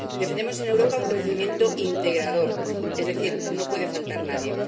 Defendemos en Europa un crecimiento integrador, es decir, no puede faltar nadie